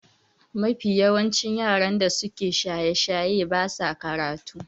Mafi yawa yaran da suke shaye-shaye ba sa karatu